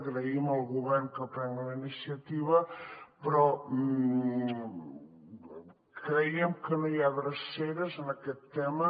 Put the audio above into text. agraïm al govern que prengui la iniciativa però creiem que no hi ha dreceres en aquest tema